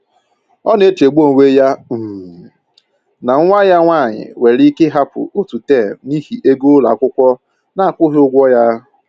Ọ na-echegbu onwe ya um na nwa ya nwanyị nwere ike ịhapụ otu tem n'ihi ego ụlọ akwụkwọ na-akwụghị ụgwọ ya